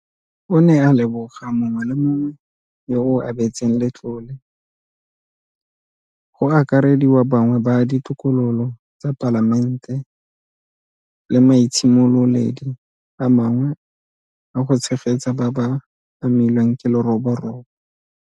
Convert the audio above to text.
O ne a leboga mongwe le mongwe yo o abetseng letlole, go akarediwa bangwe ba Ditokololo tsa Palamente le maitshimololedi a mangwe a go tshegetsa ba ba amilweng ke leroborobo.